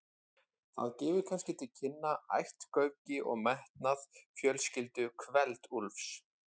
Það gefur kannski til kynna ættgöfgi og metnað fjölskyldu Kveld-Úlfs.